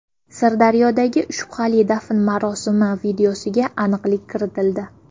Sirdaryodagi shubhali dafn marosimi videosiga aniqlik kiritildi.